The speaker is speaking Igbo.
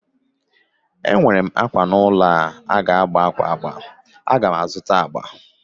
Enwerem àkwá nọ n'ulọ a ga-agba àkwá agba, agam azụta agba